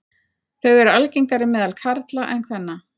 Þau eru algengari meðal karla en kvenna.